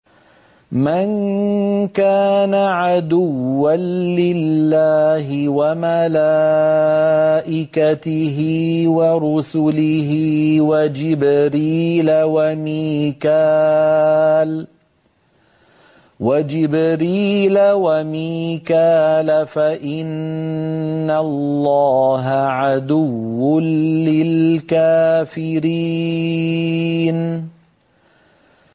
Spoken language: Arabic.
مَن كَانَ عَدُوًّا لِّلَّهِ وَمَلَائِكَتِهِ وَرُسُلِهِ وَجِبْرِيلَ وَمِيكَالَ فَإِنَّ اللَّهَ عَدُوٌّ لِّلْكَافِرِينَ